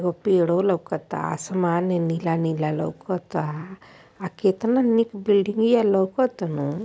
एगो पेड़ो लउकता आसमान नीला-नीला लउकता। अ केतना नीक बिल्डिंगिया लउकतानु।